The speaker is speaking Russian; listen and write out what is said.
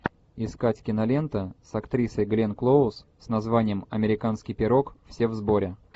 искать кинолента с актрисой гленн клоуз с названием американский пирог все в сборе